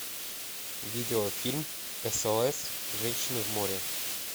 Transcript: видеофильм сос женщины в море